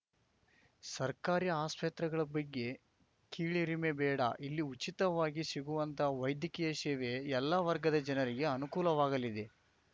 ಸರ್ಕಾರಿ ಆಸ್ಪತ್ರೆಗಳ ಬಗ್ಗೆ ಕೀಳರಿಮೆ ಬೇಡ ಇಲ್ಲಿ ಉಚಿತವಾಗಿ ಸಿಗುವಂತಹ ವೈದ್ಯಕೀಯ ಸೇವೆ ಎಲ್ಲ ವರ್ಗದ ಜನರಿಗೆ ಅನುಕೂಲವಾಗಲಿದೆ